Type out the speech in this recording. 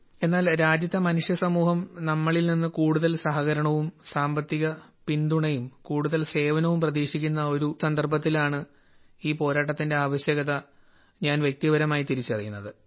എന്നാൽ രാജ്യത്തെ മനുഷ്യസമൂഹം നമ്മിൽ നിന്ന് കൂടുതൽ സഹകരണവും സാമ്പത്തിക പിന്തുണയും കൂടുതൽ സേവനവും പ്രതീക്ഷിക്കുന്ന ഒരു സന്ദർഭത്തിലാണ് ഈ പോരാട്ടത്തിന്റെ ആവശ്യകത ഞാൻ വ്യക്തിപരമായി തിരിച്ചറിയുന്നത്